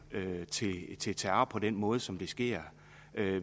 til terror på den måde som det sker